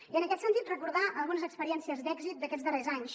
i en aquest sentit recordar algunes experiències d’èxit d’aquests darrers anys